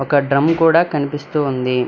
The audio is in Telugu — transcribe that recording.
ఒక డ్రమ్ కూడా కనిపిస్తూ ఉంది.